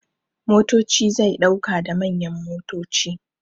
Motoci zai dauka da manyan motoci.